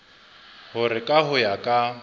hore ka ho ya ka